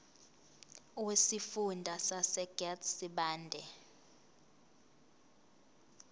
wesifunda sasegert sibande